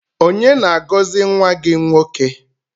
Onye na-agọzi nwa gị nwoke?